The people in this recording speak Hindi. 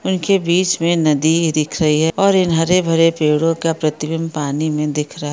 इन के बीच मे नदी दिख रही है और इन हरे भरे पेड़ो का प्रतिभिम्ब पानी में दिख रहा है।